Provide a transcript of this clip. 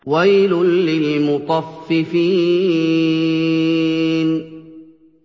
وَيْلٌ لِّلْمُطَفِّفِينَ